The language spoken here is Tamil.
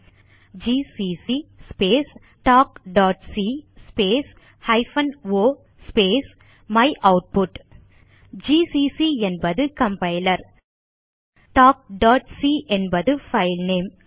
எழுதுக ஜிசிசி ஸ்பேஸ் talkசி space hyphen o space my output GCC என்பது கம்பைலர் talkசி என்பது பைல்நேம்